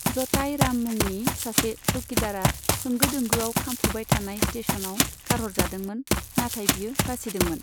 जटाई राम मुंनि सासे चौकीदारआ होंगो दोंगोआव खामफुबाय थानाय स्टेसनाव गारहरजादोंमोन, नाथाय बियो बासिदोंमोन।